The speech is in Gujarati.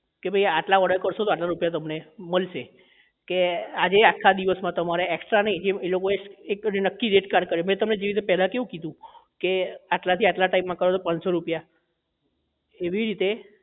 કે ભાઈ આટલા order કરશો તો આટલા રૂપિયા તમને મળશે કે આજે આખા દિવસ માં તમારે extra નહીં જે એ લોકો એ નક્કી એજ કાર્ય કરે મેં તમને પહેલા કેવી રીતે કીધું કે આટલા થી આટલા time માં કરો પાનસો તો આટલા રૂપિયા એવા મલસે